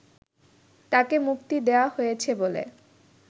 তাকে মুক্তি দেয়া হয়েছে বলে